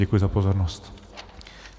Děkuji za pozornost.